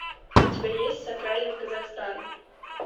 у тебя есть сакральный казахстан